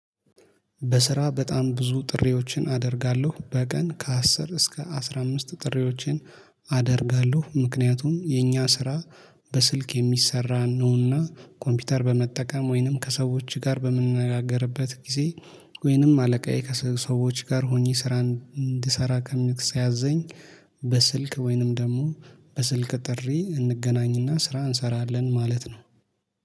በስራ በጣም ብዙ ጥሪዎችን አደርጋለሁ በቀን ከአስር እስከ አስራ አምስት ጥሪዎችን አደርጋለሁ ምክንያቱም የኛ ስራ። በስልክ የሚሰራ ነውና ኮምፒውተር በመጠቀም ወይንም ከሰዎች ጋር በምንነጋገርበት ጊዜ። ወይንም አለቃዬ ከሰሰዎች ጋር ሆኜ ስራን እንድሰራ ከሚክ ሲያዘኝ። በስልክ ወይንም ደግሞ በስልክ ጥሪ እንገናኝና ስራ እንሰራለን ማለት ነው